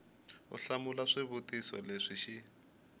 u hlamula swivutiso leswi xi